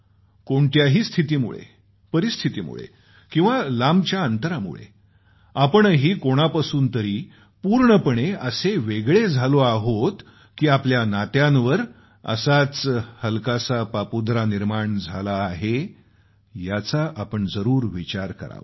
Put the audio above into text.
कोणत्याही स्थितीमुळे परिस्थितीमुळे किंवा लांबच्या अंतरामुळे आपणही कोणापासून तरी पूर्णपणे वेगळं झालो आहोत की आपल्या नात्यांवर असाच हलकासा पापुद्रा निर्माण झाला आहे याचा आपण जरूर विचार करावा